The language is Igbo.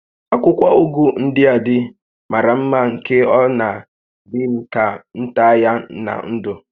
Akwụkwọ ụgụ ndịa dị màrà mmá nke na ọ dị m ka m taa ya na ńdụ̀